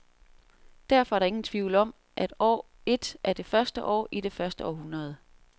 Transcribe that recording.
Derfor er der ingen tvivl om, at år et er det første år i det første århundrede.